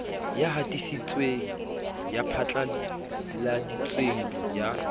ya hatisitseng ya phatlaladitseng ya